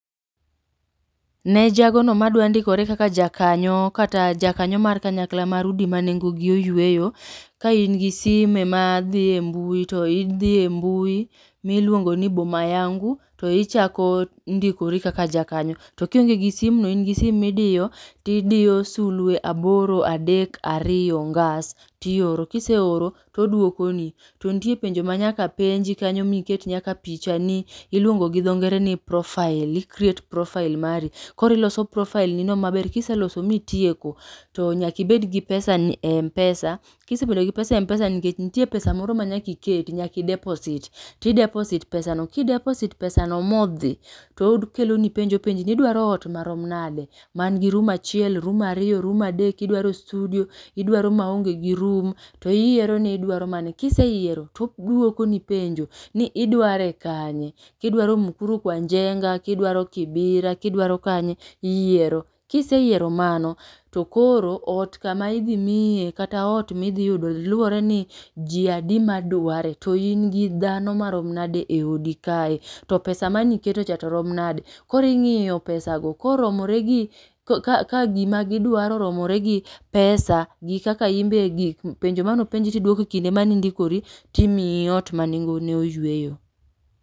Ne jagono madwa ndikore kaka jakanyo kata jakanyo mar kanyakla mar udi manengogi oyweyo. Ka ingi sime madhie mbui to idhie mbui miluongini boma yangu to ichako ndikori kaka jakanyo. To kiongiegi gi simno ingi sim midiyo tidiyo sulwe aboro adek ariyo ngas tioro. Kiseoro toduokoni. To nitie penjo manyaka penji kanyo miket nyaka pichani iluongi dho ngere ni profile ikriet profile mari. Koro iloso profilenino maber kiseloso mitieko to nyaka ibedgi pesani empesa kisebedogi pesa empesa nikech nitie pesa moro manyaka iketi nyaka ideposit tideposit pesano kidedosit pesano modhi to okeloni penjo penjni idwaro oot marom nade?, mangi rum achiel rum ariyo rum adek kidwaro studio. Idwaro maongegi rum to iyieroni idwaro mane. Kiseyiero to odwokoni penjo ni idware kanye. Kidwaro Mukuru kwa njenga kidwaro kibira kidwaro kanye iyiero. Kiseyiero mano tokoro oot kama idhi miyie kata oot midhi yudo luoreni ji adi madware to ingi dhano marom nade eodi kae. Topesa mane iketocha torom nade. Koro ing'iyo pesago koromoregi ka kagima gidwaro oromoregi gi pesa gi kaka imbe gik penjo manopenji tiduoko ekinde mane indikori timiyi oot manengone oyueyo